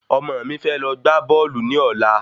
Ọmọ mi fẹ́ lọ gbá bọ́ọ̀lù ni ọ̀la